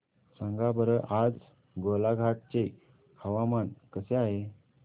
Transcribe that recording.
सांगा बरं आज गोलाघाट चे हवामान कसे आहे